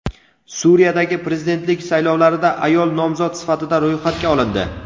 Suriyadagi prezidentlik saylovlarida ayol nomzod sifatida ro‘yxatga olindi.